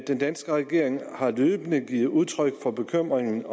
den danske regering har løbende givet udtryk for bekymringen